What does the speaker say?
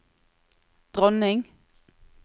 dronning